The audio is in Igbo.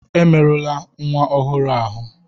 Emerula nwa ọhụrụ ahụ!